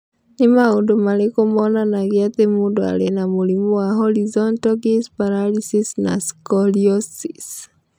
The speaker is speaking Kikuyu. Nĩ maũndũ marĩkũ monanagia atĩ mũndũ arĩ na mũrimũ wa Horizontal gaze paralysis na scoliosis?